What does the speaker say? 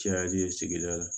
Cayali ye sigida la